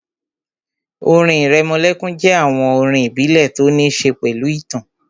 Orin ìrẹmọlẹ́kún jẹ́ àwọn orin ìbílẹ̀ tó ní ṣe pẹ̀lú ìtàn